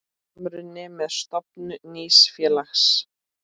Samruni með stofnun nýs félags.